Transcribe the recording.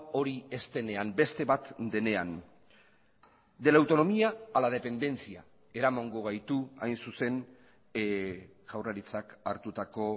hori ez denean beste bat denean de la autonomía a la dependencia eramango gaitu hain zuzen jaurlaritzak hartutako